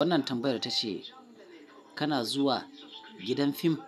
Wannan tambayar ta ce kana zuwa gidan fim?